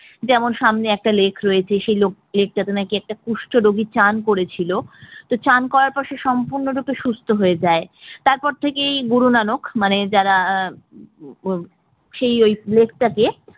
যেমন সামনে একটা lake রয়েছে সেই lake টাতে নাকি একটা কুষ্ঠ রোগী স্নান করেছিল, স্নান করার পর সে সম্পূর্ণরূপে সুস্থ হয়ে যায়, তারপর থেকে গুরু নানক মানে যারা সেই ওই lake টাকে